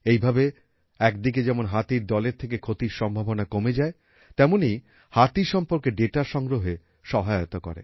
এইভাবে একদিকে যেমন হাতির দলের থেকে ক্ষতির সম্ভাবনা কমে যায় তেমনই হাতি সম্পর্কে দাতা সংগ্রহে সহায়তা করে